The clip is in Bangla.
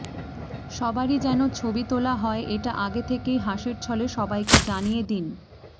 সবারই যেন ছবি তোলা হয় এটা আগে থেকেই হাসির ছলে সবাইকে জানিয়ে দিন